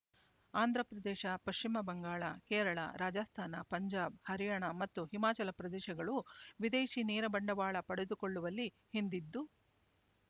ಆಂಧ್ರ ಪ್ರದೇಶ ಪಶ್ಚಿಮ ಬಂಗಾಳ ಕೇರಳ ರಾಜಸ್ತಾನ ಪಂಜಾಬ್ ಹರಿಯಾಣ ಮತ್ತು ಹಿಮಾಚಲ ಪ್ರದೇಶಗಳು ವಿದೇಶಿ ನೇರ ಬಂಡವಾಳ ಪಡೆದುಕೊಳ್ಳುವಲ್ಲಿ ಹಿಂದಿದ್ದು